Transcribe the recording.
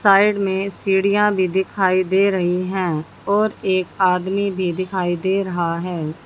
Side में सीढ़ियां भी दिखाई दे रही हैं और एक आदमी भी दिखाई दे रहा है।